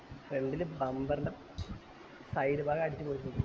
front ൽ bumber ൻറെ side ഭാഗം അടിച്ച് പൊളിച്ച്